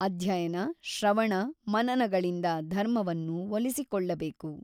ಅಧ್ಯಯನ ಶ್ರವಣ ಮನನಗಳಿಂದ ಧರ್ಮವನ್ನು ಒಲಿಸಿಕೊಳ್ಳಬೇಕು.